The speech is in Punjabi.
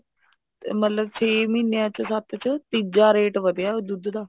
ਮਤਲਬ ਛੇ ਮਹੀਨਿਆ ਚ ਸੱਤ ਚ ਤੀਜਾ rate ਵਧਿਆ ਦੁੱਧ ਦਾ